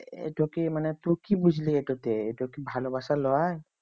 এটা কি মানে তো কি বুঝলি এই তো তে এটা কি ভালোবাসা লই